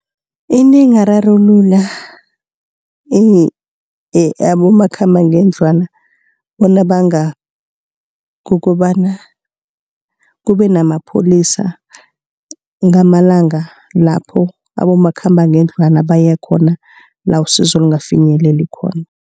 Into engararulula abomakhambangendlwana bona bangabi. Kukobana kube namapholisa ngamalanga lapho abomakhambangendlwana baye khona, la usizo lingafinyeleli khona.